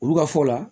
Olu ka fɔ la